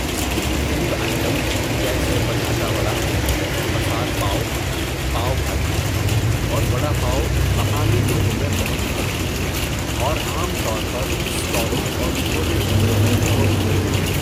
Street food items جیسے بٹاٹا وڈا، مسال پاو، پاو بھاجی، اور وڈا پاو مقامی لوگوں میں بہت مشہور ہیں اور عام طور پر اسٹالوں اور چھوٹے ہوٹلوں میں فروخت ہوتے ہیں۔